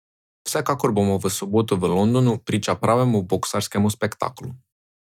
Vsekakor bomo v soboto v Londonu priča pravemu boksarskemu spektaklu.